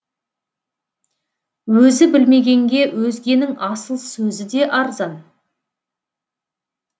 өзі білмегенге өзгенің асыл сөзі де арзан